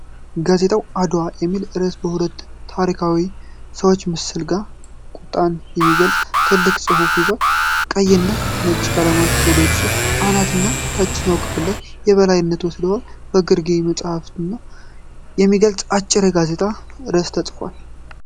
ጋዜጣው 'አድዋ' በሚል ርዕስ ከሁለት ታሪካዊ ሰዎች ምስል ጋር ቁጣን የሚገልጽ ትልቅ ጽሑፍ ይዟል። ቀይና ነጭ ቀለሞች በገጹ አናትና ታችኛው ክፍል ላይ የበላይነት ወስደዋል፤ ከግርጌ መጸየፍን የሚገልጽ አጭር የጋዜጣ ርዕስ ተጽፏል።